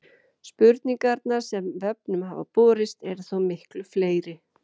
Spurningarnar sem vefnum hafa borist eru þó miklu fleiri.